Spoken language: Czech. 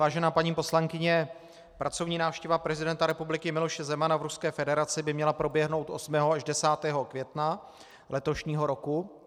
Vážená paní poslankyně, pracovní návštěva prezidenta republiky Miloše Zemana v Ruské federaci by měla proběhnout 8. až 10. května letošního roku.